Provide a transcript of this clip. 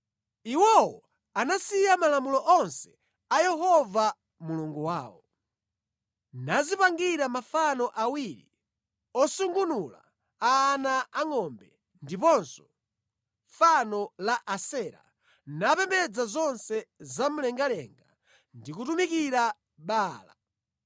Iwowo anasiya malamulo onse a Yehova Mulungu wawo, nadzipangira mafano awiri osungunula a ana angʼombe ndiponso fano la Asera, napembedza zonse zamlengalenga ndi kutumikira Baala.